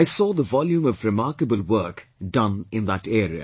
I saw the volume of remarkable work done in that area